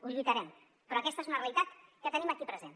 ho lluitarem però aquesta és una realitat que tenim aquí present